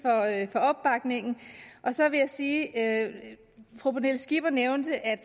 for opbakningen så vil jeg sige at fru pernille skipper nævnte at